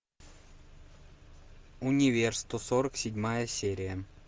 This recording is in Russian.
универ сто сорок седьмая серия